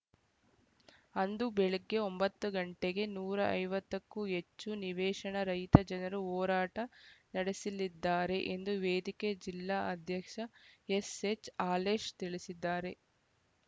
ಅಂದು ಬೆಳಗ್ಗೆ ಒಂಬತ್ತು ಗಂಟೆಗೆ ನೂರ ಐವತ್ತು ಕ್ಕೂ ಹೆಚ್ಚು ನಿವೇಶನ ರಹಿತ ಜನರು ಹೋರಾಟ ನಡೆಸಲಿದ್ದಾರೆ ಎಂದು ವೇದಿಕೆ ಜಿಲ್ಲಾ ಅಧ್ಯಕ್ಷ ಎಸ್‌ಎಚ್‌ ಹಾಲೇಶ ತಿಳಿಸಿದ್ದಾರೆ